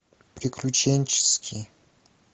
приключенческий